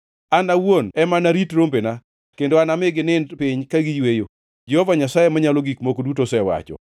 An awuon ema anarit rombena kendo anami ginind piny ka giyweyo, Jehova Nyasaye Manyalo Gik Moko Duto osewacho.